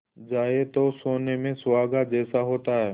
जाए तो सोने में सुहागा जैसा होता है